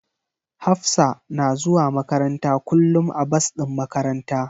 Hafsa na zuwa makaranta kullum a bas din makaranta.